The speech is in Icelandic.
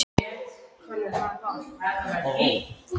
Borgin sem ég kom fyrst til, borg námsáranna.